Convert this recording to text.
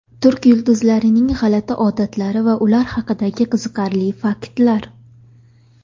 Turk yulduzlarining g‘alati odatlari va ular haqidagi qiziqarli faktlar.